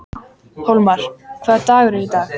Hólmar, hvaða dagur er í dag?